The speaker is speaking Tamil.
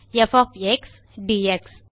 ப் ஒஃப் எக்ஸ் டிஎக்ஸ்